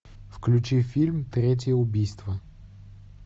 включи фильм третье убийство